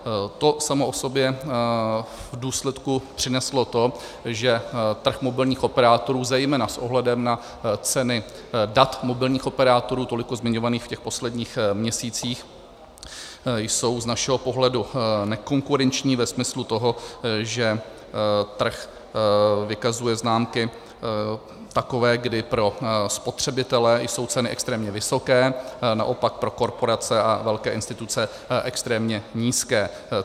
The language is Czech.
To samo o sobě v důsledku přineslo to, že trh mobilních operátorů, zejména s ohledem na ceny dat mobilních operátorů tolik zmiňovaných v těch posledních měsících, jsou z našeho pohledu nekonkurenční ve smyslu toho, že trh vykazuje známky takové, kdy pro spotřebitele jsou ceny extrémně vysoké, naopak pro korporace a velké instituce extrémně nízké.